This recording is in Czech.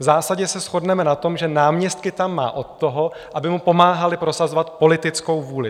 V zásadě se shodneme na tom, že náměstky tam má od toho, aby mu pomáhali prosazovat politickou vůli.